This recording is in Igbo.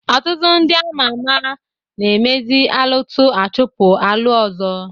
Ọtụtụ ndị ama ama na-emezi alụtụ achọpụ alụ ọzọ.